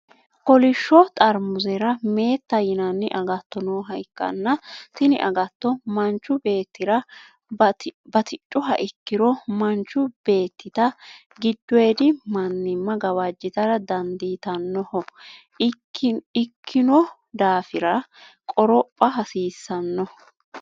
Kolisho xarimuuzera meetta yinanni agatto nooha ikanna tinni agatto manchu beetira batidhuha ikiro mannichu beetita gidoyidi mannima gawajitara dandiitanoho ikinno daafira qoropha hasiisanno.